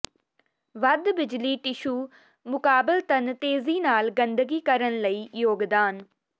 ਵੱਧ ਬਿਜਲੀ ਟਿਸ਼ੂ ਮੁਕਾਬਲਤਨ ਤੇਜ਼ੀ ਨਾਲ ਗੰਦਗੀ ਕਰਨ ਲਈ ਯੋਗਦਾਨ